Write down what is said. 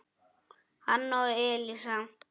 hann og Elísa.